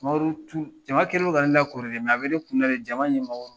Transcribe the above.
Sumaworo tun jama kɛlen don ka ne lakori dɛ, a bɛ ne kun na jama ɲɛmɔgɔ